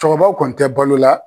Cɛkɔrɔbaw kɔni tɛ balo la.